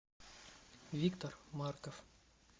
виктор марков